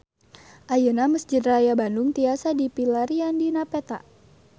Ayeuna Mesjid Raya Bandung tiasa dipilarian dina peta